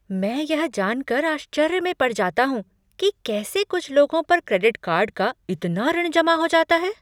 मैं यह जान कर आश्चर्य में पड़ जाता हूँ कि कैसे कुछ लोगों पर क्रेडिट कार्ड का इतना ऋण जमा हो जाता है।